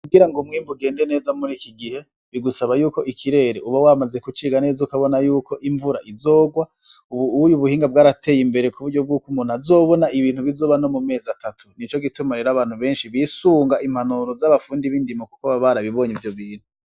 Kugira ng' umwimbu ugende neza mur'iki gihe ,bigusaba yuko ikirere uba wamaze kuciga neza ukabona yuko imvura izorwa ,ubu uya ubuhinga bwarateye imbere kuburyo bwuko umuntu azobona ibintu bizoba no mumezi atatu, nico gituma rero abantu benshi bisunga impanuro z'abafundi b'indimo Kuko baba barabibonye ivyo bintu .